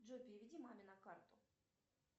джой переведи маме на карту